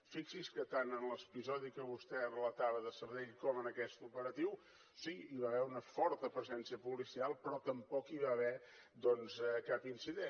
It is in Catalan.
fixi’s que tant en l’episodi que vostè relatava de sabadell com en aquest operatiu sí hi va haver una forta presència policial però tampoc hi va haver doncs cap incident